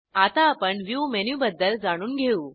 आता आपण व्ह्यू मेनूबद्दल जाणून घेऊ